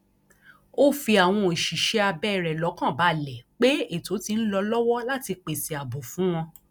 ó fi àwọn òṣìṣẹ abẹ rẹ lọkàn balẹ pé ètò ti ń lọ lọwọ láti pèsè ààbò fún wọn